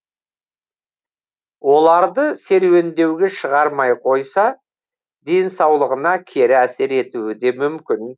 оларды серуендеуге шығармай қойса денсаулығына кері әсер етуі де мүмкін